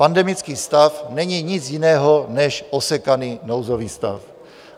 Pandemický stav není nic jiného než osekaný nouzový stav.